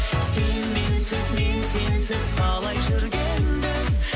сен менсіз мен сенсіз қалай жүргенбіз